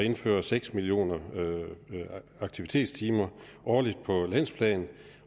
og indføre seks millioner aktivitetstimer årligt på landsplan